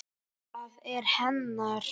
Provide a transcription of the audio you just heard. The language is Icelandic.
Það er hennar.